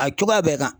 A cogoya bɛɛ kan